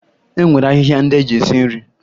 E nwere ahịhịa ndị eji esi nri